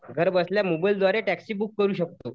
घर बसल्या मोबाईलद्वारे टेक्सी बुक करू शकतो.